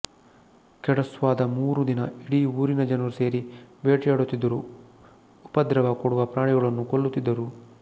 ಕೆಡ್ವಾಸದ ಮೂರು ದಿನ ಇಢೀ ಊರಿನ ಜನರು ಸೇರಿ ಬೇಟೆಯಾಡುತ್ತಿದ್ದರು ಉಪದ್ರವ ಕೊಡುವ ಪ್ರಾಣಿಗಳನ್ನು ಕೊಲ್ಲುತ್ತಿದ್ದರು